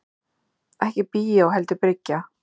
Ekki bíó heldur bryggja.